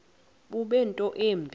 bube nto yimbi